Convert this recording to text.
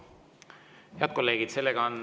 Head kolleegid!